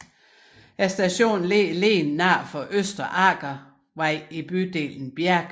Stationen ligger lige nord for Østre Aker vei i bydelen Bjerke